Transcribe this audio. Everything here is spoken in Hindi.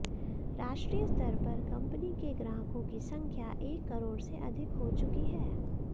राष्ट्रीय स्तर पर कंपनी के ग्राहकों की संख्या एक करोड़ से अधिक हो चुकी है